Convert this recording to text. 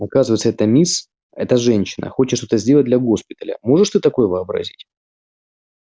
оказывается эта мисс эта женщина хочет что-то сделать для госпиталя можешь ты такое вообразить